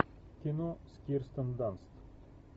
кино с кирстен данст